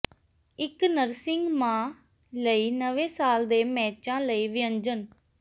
ਇੱਕ ਨਰਸਿੰਗ ਮਾਂ ਲਈ ਨਵੇਂ ਸਾਲ ਦੇ ਮੇਚਾਂ ਲਈ ਵਿਅੰਜਨ